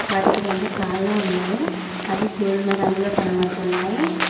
వాడికి రెండు కాళ్ళు ఉన్నాయి అవి గోధుమ రంగులో కనబడుతున్నాయి.